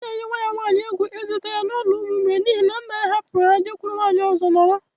Ọ na eyi nwa ya nwaanyị egwu ịzụta ya na n’ụlọ ụmụ mgbei n’ihi na nna ya hapụrụ ha jekwuru nwaanyị ọzọ nọrọ